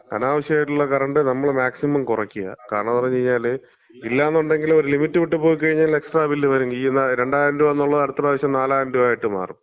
അനാവശ്യായിട്ടുള്ള current നമ്മള് maximum കുറയ്ക്കാ. കാരണംന്ന് പറഞ്ഞ് കഴിഞ്ഞാല് ഇല്ലാന്നൊണ്ടെങ്കില് ഒരു ലിമിറ്റ് വിട്ട് പോയി കഴിഞ്ഞാ ഒരു എക്സ്ട്രാ ബില്ല് വരും. ഈ 2000 രൂപാന്നുള്ളത് അടുത്ത പ്രാവശ്യം 4000 രൂപയായിട്ട് മാറും.